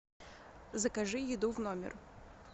закажи еду в номер